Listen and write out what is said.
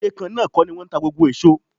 Iye kan náà kọ́ ni wọ́n ń ta gbogbo èso.